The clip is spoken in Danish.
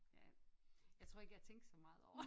Ja jeg tror ikke jeg tænkte så meget over det